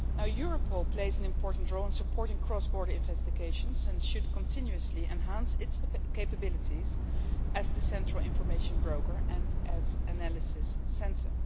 Europol plays an important role in supporting cross border investigations and should continuously enhance its capabilities as the central information broker and as an analysis centre.